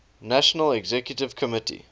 national executive committee